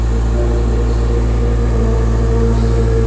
peoples institute of nursing --